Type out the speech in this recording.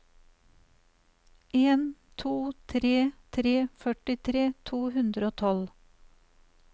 en to tre tre førtitre to hundre og tolv